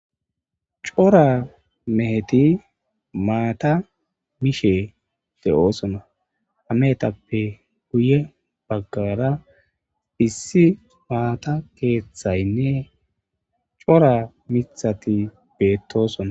Cora meheti maatta mishshe de"ossona izetappe guye baggara cora miththati bettosona